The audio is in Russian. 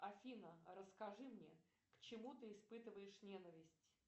афина расскажи мне к чему ты испытываешь ненависть